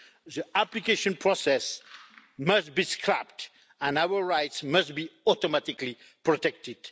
The application process must be scrapped and our rights must be automatically protected.